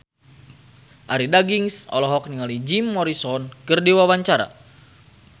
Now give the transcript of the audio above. Arie Daginks olohok ningali Jim Morrison keur diwawancara